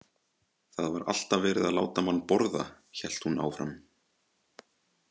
Það var alltaf verið að láta mann borða, hélt hún áfram.